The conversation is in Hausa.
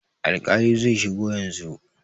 Alƙalin zai shigo yanzu.